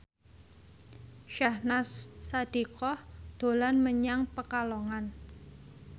Syahnaz Sadiqah dolan menyang Pekalongan